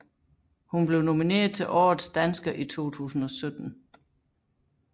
Hun blev nomineret til Årets dansker i 2017